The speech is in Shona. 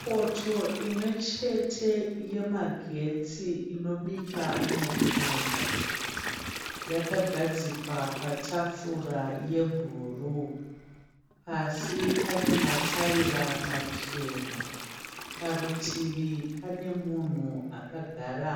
Poto imwe chete yemagetsi inobika mupunga. Yakagadzikwa patafura yebhuruu. Pasi pane mataira machena. Parutivi pane munhu akagara